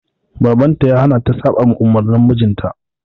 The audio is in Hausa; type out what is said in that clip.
Baban ta ya hana ta saɓama umurnin mijinta.